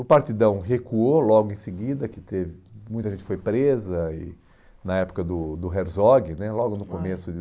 O Partidão recuou logo em seguida, que teve, muita gente foi presa e na época do do Herzog né, ãh, logo no começo de